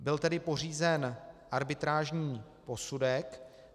Byl tedy pořízen arbitrážní posudek.